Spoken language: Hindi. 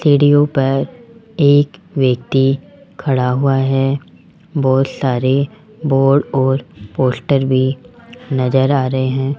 सीढ़ियों पर एक व्यक्ति खड़ा हुआ है बहुत सारे बोर्ड और पोस्टर भी नज़र आ रहे है।